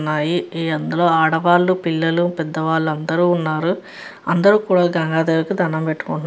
న్నాయి ఈ అందులో ఆడవాళ్ళు పిల్లలు పెద్దవాళ్ళదరు ఉన్నారు అందరూ కూడా గంగా దేవికి దండం పెట్టుకుంటు --